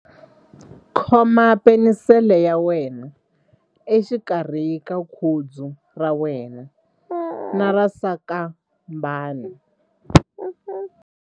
Khoma penisele ya wena exikarhi ka khudzu ra wena na sasankambana.ingana na ya mina.